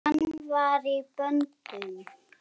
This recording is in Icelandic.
Hann var í böndum.